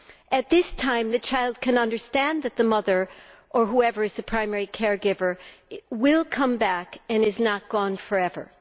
At that time, the child can understand that the mother, or the substitute primary care giver, will come back and is not gone forever.